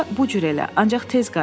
Onda bu cür elə, ancaq tez qayıt.